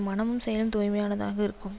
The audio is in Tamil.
மனமும் செயலும் தூய்மையானதாக இருக்கும்